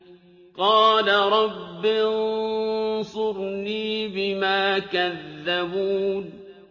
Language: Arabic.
قَالَ رَبِّ انصُرْنِي بِمَا كَذَّبُونِ